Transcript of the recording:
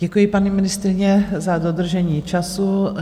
Děkuji, paní ministryně, za dodržení času.